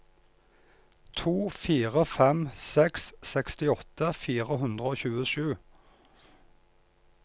to fire fem seks sekstiåtte fire hundre og tjuesju